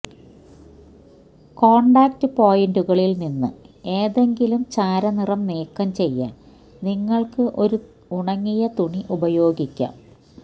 contact പോയിന്റുകളിൽ നിന്ന് ഏതെങ്കിലും ചാരനിറം നീക്കം ചെയ്യാൻ നിങ്ങൾക്ക് ഒരു ഉണങ്ങിയ തുണി ഉപയോഗിക്കാം